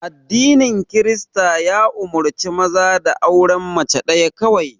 Addinin Kirista ya umurce maza da auren mace ɗaya kawai